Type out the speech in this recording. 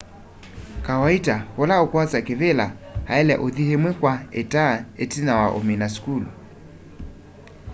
kawaita ula ukwosa kivila aile uthi imwe kwa ita itina wa umina sukulu